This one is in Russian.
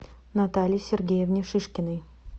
наталье сергеевне шишкиной